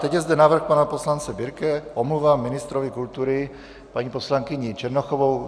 Teď je zde návrh pana poslance Birkeho - omluva ministrovi kultury paní poslankyní Černochovou.